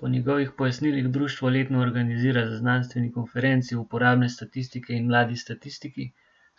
Po njegovih pojasnilih društvo letno organizira znanstveni konferenci Uporabne statistike in Mladi statistiki,